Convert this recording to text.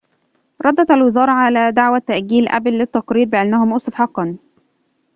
ردت الوزارة على دعوة تأجيل أبل للتقرير بأنه مؤسف حقاً